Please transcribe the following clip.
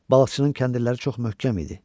Balıqçının kəndirləri çox möhkəm idi.